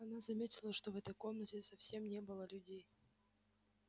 она заметила что в этой комнате совсем не было людей